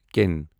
کٮ۪ن